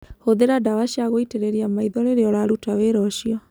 Hũthĩra ndawa cia gũitĩrĩria maitho rĩrĩa ũraruta wĩra ũcio.